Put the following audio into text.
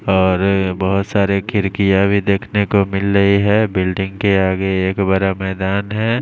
और बहोत सारे खिड़कियां भी देखने को मिल रही है बिल्डिंग के आगे एक बड़ा मैदान है।